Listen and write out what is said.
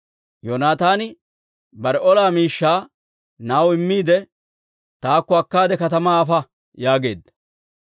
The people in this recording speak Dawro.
Yoonataani bare ola miishshaa na'aw immiide, «Tookka akkaade katamaa afa» yaageedda.